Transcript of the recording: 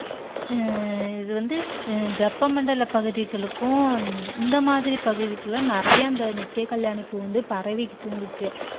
அஹ் இது வந்து வெப்ப மண்டல பகுதிகளுக்கும் இந்த மாதிரி பகுதிகளும் நிறைய இந்த நித்தியகல்யாணி பூ வந்து பரவிட்டு இருந்தது.